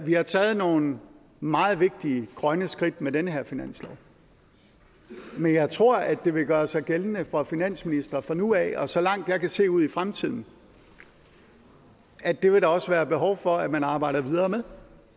har taget nogle meget vigtige grønne skridt med den her finanslov men jeg tror at det vil gøre sig gældende for finansministre fra nu af og så langt jeg kan se ud i fremtiden at det vil der også være behov for at man arbejder videre med